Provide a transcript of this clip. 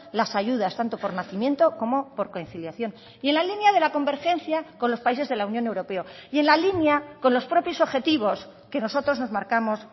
las ayudas tanto por nacimiento como por conciliación y en la línea de la convergencia con los países de la unión europea y en la línea con los propios objetivos que nosotros nos marcamos